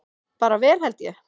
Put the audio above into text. Bara vel held ég.